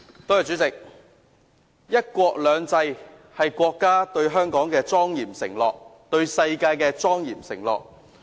代理主席，"一國兩制"是國家對香港的莊嚴承諾，對世界的莊嚴承諾。